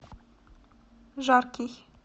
жаркий